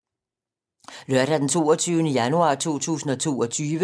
Lørdag d. 22. januar 2022